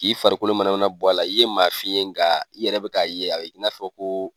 K'i farikolo mana mana bɔ a la i ye maa fin ye nga i yɛrɛ bɛ ka ye a bɛ i n'a fɔ ko